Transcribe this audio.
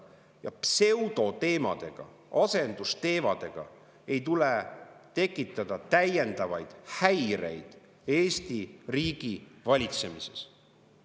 Ja pseudoteemadega, asendusteemadega ei tuleks tekitada täiendavaid häireid Eesti riigi valitsemises.